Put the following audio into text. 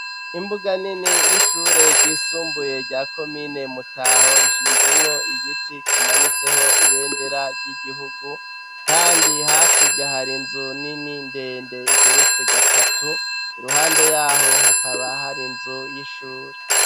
Imbuga nini y'ishure ryisumbuye rya komine mutaho rishinzemwo igiti kimanitseho ibendera ry'igihugu kandi hakurya hari inzu nini ndende igeretse gatatu iruhande yaho hakaba hari nzu y'ishuri.